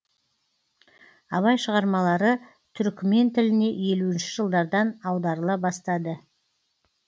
абай шығармалары түрікмен тіліне елуінші жылдардан аударыла бастады